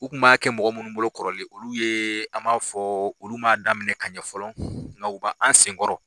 U kun b'a kɛ mɔgɔw munnu bolo kɔrɔlen, olu yeee a m'a fɔ, olu ma daminɛ ka ɲɛ fɔlɔ, nka u b'an sen kɔrɔ.